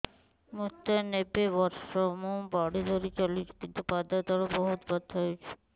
ମୋତେ ନବେ ବର୍ଷ ମୁ ବାଡ଼ି ଧରି ଚାଲୁଚି କିନ୍ତୁ ପାଦ ତଳ ବହୁତ ବଥା ହଉଛି